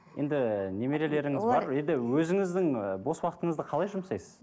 енді немерелеріңіз енді өзіңіздің і бос уақытыңызды қалай жұмсайсыз